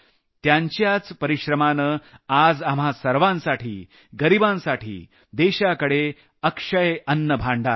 यांच्याच परिश्रमानं आज आपल्या सर्वांसाठी गरिबांसाठी देशाकडे अक्षय अन्नभांडार आहे